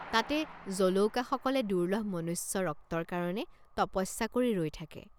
তাতে জলৌকাসকলে দুৰ্লভ মনুষ্য ৰক্তৰ কাৰণে তপস্যা কৰি ৰৈ থাকে।